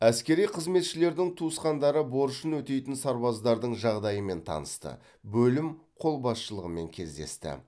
әскери қызметшілердің туысқандары борышын өтейтін сарбаздардың жағдайымен танысты бөлім қолбасшылығымен кездесті